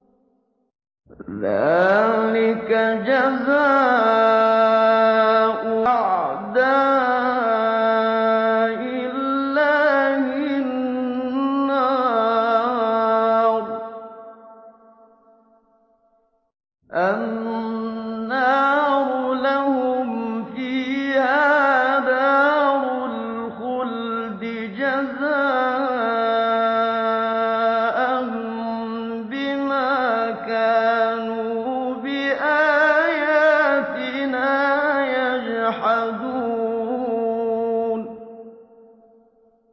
ذَٰلِكَ جَزَاءُ أَعْدَاءِ اللَّهِ النَّارُ ۖ لَهُمْ فِيهَا دَارُ الْخُلْدِ ۖ جَزَاءً بِمَا كَانُوا بِآيَاتِنَا يَجْحَدُونَ